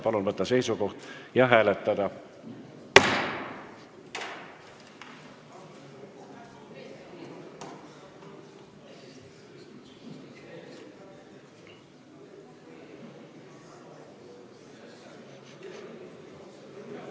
Palun võtta seisukoht ja hääletada!